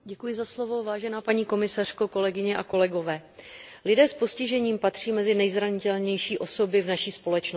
Vážená paní komisařko, kolegyně a kolegové, lidé s postižením patří mezi nejzranitelnější osoby v naší společnosti.